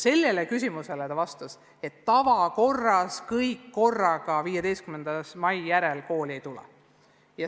Sellele küsimusele vastas linnapea nii, et tavakorras kõik õpilased korraga 15. mai järel kooli ei tule.